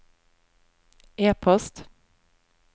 e-post